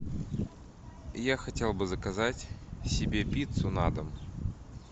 я хотел бы заказать себе пиццу на дом